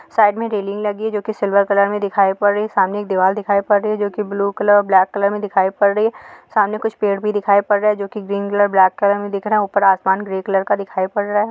Side मे railing लगी जोकि सिल्वर कलर मे दिखाई पड़ रही है सामने एक दीवार दिखाई पड़ रही जो की ब्लू कलर और ब्लैक कलर की दिखाई पड़ रही सामने कुछ पेड़ भी दिखाई पड़ रहे जो की ग्रीन कलर ब्लैक कलर मे दिख रहा ऊपर आसमान ग्रे कलर का दिखाई पड़ रहा है।